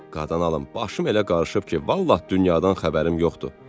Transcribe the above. "Qadan alım, başım elə qarışıb ki, vallah dünyadan xəbərim yoxdur.